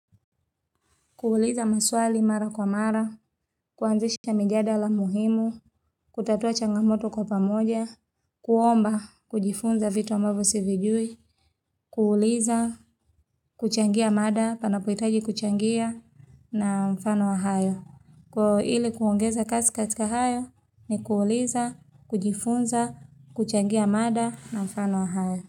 Kuuliza maswali mara kwa mara, kuanzisha mijadala muhimu, kutatua changamoto kwa pamoja, kuomba, kujifunza vitu ambavyo sivijui, kuuliza, kuchangia mada, panapohitaji kuchangia na mfano wa hayo. Kwa ili kuongeza kazi katika hayo ni kuuliza, kujifunza, kuchangia mada na mfano wa hayo.